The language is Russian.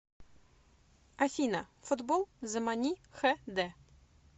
афина футбол замани хэ дэ